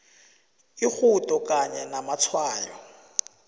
irhudo kanye namatshwayo